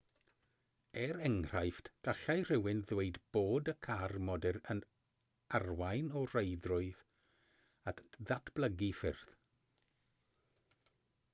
er enghraifft gallai rhywun ddweud bod y car modur yn arwain o reidrwydd at ddatblygu ffyrdd